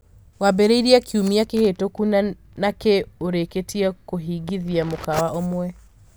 Wambĩrĩirie kiumia kĩhĩtũku na nĩ urĩkĩrĩtie kũhingĩthia mũkawa umwe